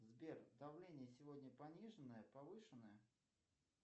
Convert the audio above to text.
сбер давление сегодня пониженное повышенное